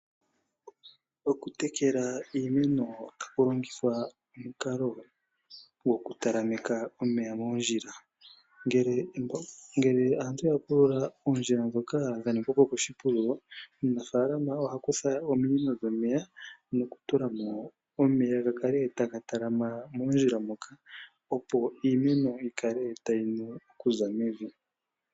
Okutekela iimeno tapu longithwa omukalo gokutalameka omeya moondjila, ngele aantu yapulula oondjila dhoka dhaningwa koshipululo, omunafaalama oha kutha ominino dhomeya nokutula mo omeya gakale taga talama moondjila moka opo iimeno yikale tayi nu okuza mevi.